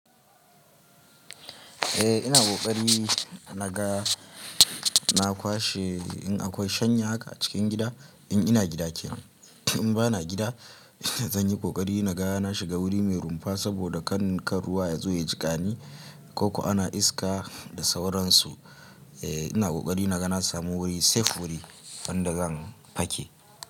Eh ina ƙoƙari naga na kwashe in akwai shanya haka a cikin gida in ina gida kenan. In ba na gida, zanyi kokari naga na shiga wuri mai rumfa saboda kan kar ruwa ya zo ya jiƙani ko ko ana iska da sauransu. Eh ina kokari naga na samu wuri safe wuri, wanda zan fake.